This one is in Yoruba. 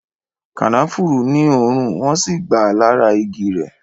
Kànáfùrú ní òórùn, wọn si gba lára igi rẹ